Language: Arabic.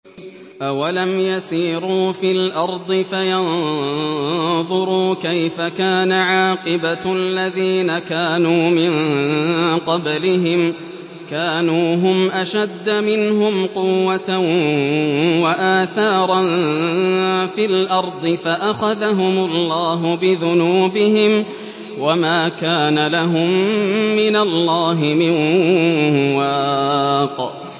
۞ أَوَلَمْ يَسِيرُوا فِي الْأَرْضِ فَيَنظُرُوا كَيْفَ كَانَ عَاقِبَةُ الَّذِينَ كَانُوا مِن قَبْلِهِمْ ۚ كَانُوا هُمْ أَشَدَّ مِنْهُمْ قُوَّةً وَآثَارًا فِي الْأَرْضِ فَأَخَذَهُمُ اللَّهُ بِذُنُوبِهِمْ وَمَا كَانَ لَهُم مِّنَ اللَّهِ مِن وَاقٍ